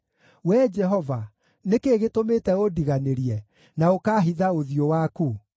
Wee Jehova, nĩ kĩĩ gĩtũmĩte ũndiganĩrie na ũkaahitha ũthiũ waku?